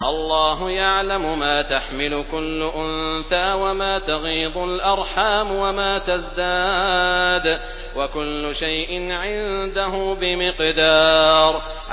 اللَّهُ يَعْلَمُ مَا تَحْمِلُ كُلُّ أُنثَىٰ وَمَا تَغِيضُ الْأَرْحَامُ وَمَا تَزْدَادُ ۖ وَكُلُّ شَيْءٍ عِندَهُ بِمِقْدَارٍ